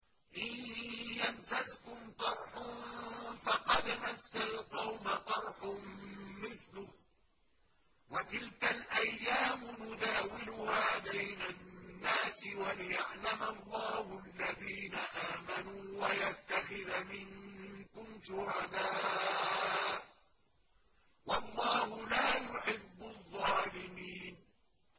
إِن يَمْسَسْكُمْ قَرْحٌ فَقَدْ مَسَّ الْقَوْمَ قَرْحٌ مِّثْلُهُ ۚ وَتِلْكَ الْأَيَّامُ نُدَاوِلُهَا بَيْنَ النَّاسِ وَلِيَعْلَمَ اللَّهُ الَّذِينَ آمَنُوا وَيَتَّخِذَ مِنكُمْ شُهَدَاءَ ۗ وَاللَّهُ لَا يُحِبُّ الظَّالِمِينَ